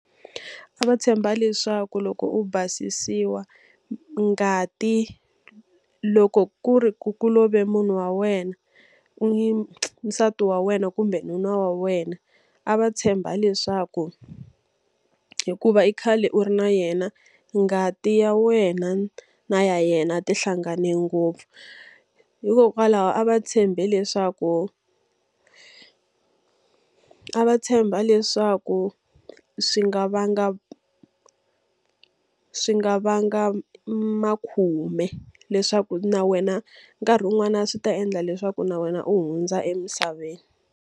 A va tshemba leswaku loko u basisiwa, ngati loko ku ri ku ku love munhu wa wena nsati wa wena kumbe nuna wa wena, a va tshemba leswaku hikuva i khale u ri na yena ngati ya wena na ya yena ti hlangane ngopfu. Hikokwalaho a va tshembe leswaku a va tshemba leswaku swi nga vanga swi nga vanga makhume, leswaku na wena nkarhi wun'wana swi ta endla leswaku na wena u hundza emisaveni.